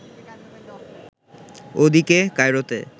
ওদিকে, কায়রোতে